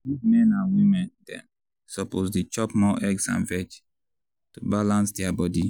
big men and women dem suppose dey chop more egg and veg to balance their body.